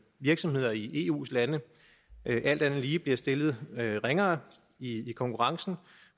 virksomheder i eus lande alt andet lige bliver stillet ringere i konkurrencen